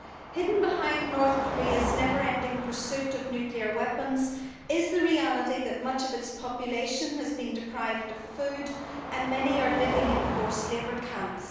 Hidden behind North Korea's never ending pursuit of nuclear weapons is the reality that much of its population has been deprived of food and many are living in forced labour camps.